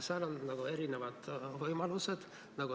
Seal on erinevad võimalused.